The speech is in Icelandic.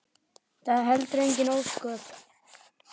Það eru heldur engin ósköp.